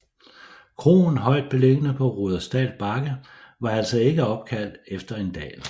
Kroen højt beliggende på Rudersdal Bakke var altså ikke opkaldt efter en dal